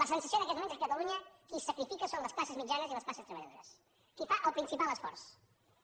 la sensació en aquests moments és que a catalunya qui se sacrifica són les classes mitjanes i les classes treballadores qui fa el principal esforç